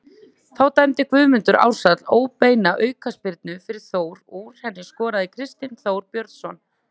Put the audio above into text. Þá dæmdi Guðmundur Ársæll óbeina aukaspyrnu fyrir Þór og úr henni skoraði Kristinn Þór Björnsson.